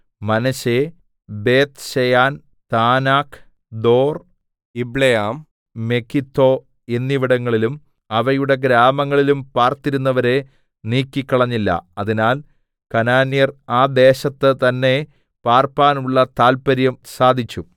മനശ്ശെ ബേത്ത്ശെയാൻ താനാക്ക് ദോർ യിബ്ളെയാം മെഗിദ്ദോ എന്നിവിടങ്ങളിലും അവയുടെ ഗ്രാമങ്ങളിലും പാർത്തിരുന്നവരെ നീക്കിക്കളഞ്ഞില്ല അതിനാൽ കനാന്യർ ആ ദേശത്ത് തന്നേ പാർപ്പാനുള്ള താല്പര്യം സാധിച്ചു